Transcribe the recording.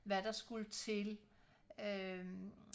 hvad der skulle til øh